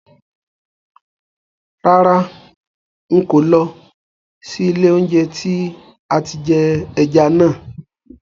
Rárá, ń kò ó lọ sí ilé oúnjẹ tí àti jẹ ẹja náà